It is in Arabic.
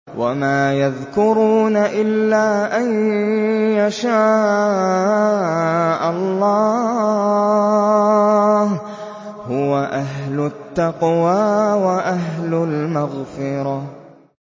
وَمَا يَذْكُرُونَ إِلَّا أَن يَشَاءَ اللَّهُ ۚ هُوَ أَهْلُ التَّقْوَىٰ وَأَهْلُ الْمَغْفِرَةِ